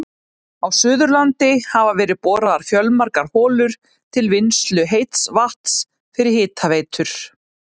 Á Suðurlandi hafa verið boraðar fjölmargar holur til vinnslu heits vatns fyrir hitaveitur.